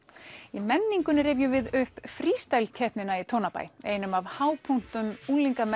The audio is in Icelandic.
í menningunni rifjum við upp keppnina í Tónabæ einum af hápunktum